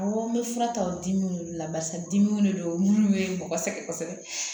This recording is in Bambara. Awɔ n bɛ fura ta o dimiw de la barisa dimiw de don minnu bɛ mɔgɔ sɛgɛn kosɛbɛ